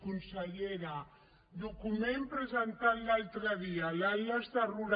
consellera document presentat l’altre dia l’cambra